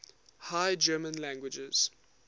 high german languages